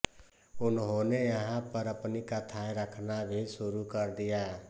उन्होंने यहाँ पर अपनी कथाएँ रखना भी शुरू कर दिया